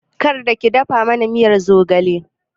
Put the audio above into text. Kar ki dafa mana miyar zogale!